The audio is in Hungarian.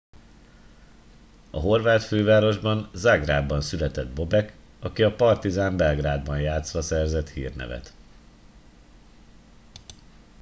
a horvát fővárosban zágrábban született bobek aki a partizan belgrádban játszva szerzett hírnevet